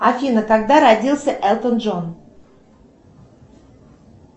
афина когда родился элтон джон